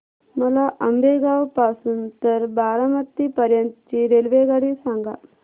मला आंबेगाव पासून तर बारामती पर्यंत ची रेल्वेगाडी सांगा